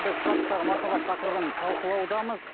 бізқашақтағы махаббат тақырыбын талқылаудамыз